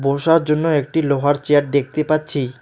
বসার জন্য একটি লোহার চেয়ার দেখতে পাচ্ছি।